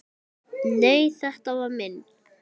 Nei, þetta var minn